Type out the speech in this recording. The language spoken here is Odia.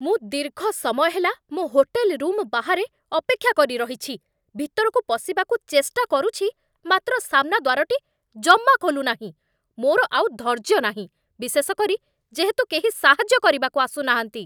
ମୁଁ ଦୀର୍ଘ ସମୟ ହେଲା ମୋ ହୋଟେଲ ରୁମ ବାହାରେ ଅପେକ୍ଷା କରି ରହିଛି, ଭିତରକୁ ପଶିବାକୁ ଚେଷ୍ଟା କରୁଛି, ମାତ୍ର ସାମ୍ନା ଦ୍ୱାରଟି ଜମା ଖୋଲୁନାହିଁ! ମୋର ଆଉ ଧୈର୍ଯ୍ୟ ନାହିଁ, ବିଶେଷ କରି, ଯେହେତୁ କେହି ସାହାଯ୍ୟ କରିବାକୁ ଆସୁନାହାଁନ୍ତି।